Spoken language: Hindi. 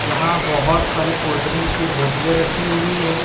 यहां बहोत सारी कोल्ड ड्रिंक के बोतले रखी हुई है।